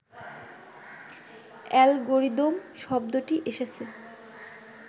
algorithm শব্দটি এসেছে